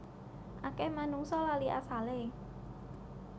Akeh manungsa lali asale